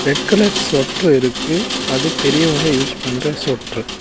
Red colour ஸொட்ரு இருக்கு அது பெரியவங்க யூஸ் பண்ற ஸொட்ரு .